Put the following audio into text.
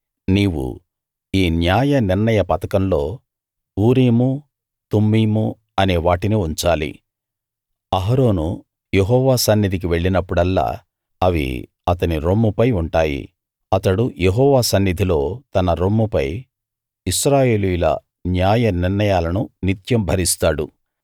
నీవు ఈ న్యాయనిర్ణయ పతకంలో ఊరీము తుమ్మీము అనే వాటిని ఉంచాలి అహరోను యెహోవా సన్నిధికి వెళ్లినప్పుడల్లా అవి అతని రొమ్ముపై ఉంటాయి అతడు యెహోవా సన్నిధిలో తన రొమ్ముపై ఇశ్రాయేలీయుల న్యాయనిర్ణయాలను నిత్యం భరిస్తాడు